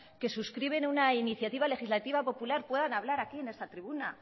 que subscriben una iniciativa legislativa popular puedan hablar aquí en esta tribuna